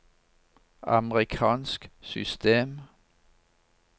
amerikansk system